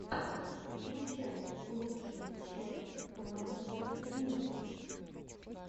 включай лучшую часть мэд твинз